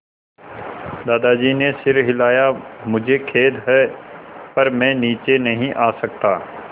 दादाजी ने सिर हिलाया मुझे खेद है पर मैं नीचे नहीं आ सकता